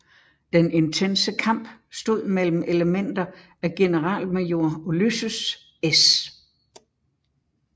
Den intense kamp stod mellem elementer af generalmajor Ulysses S